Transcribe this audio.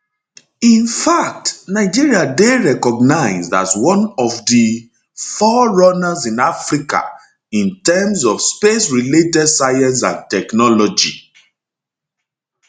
in fact nigeria dey recognised as one of di fore runners in africa in terms of spacerelated science and technology